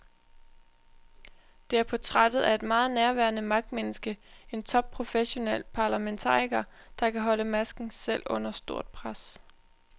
Det er portrættet af et meget nærværende magtmenneske, en topprofessionel parlamentariker, der kan holde masken selv under stort pres.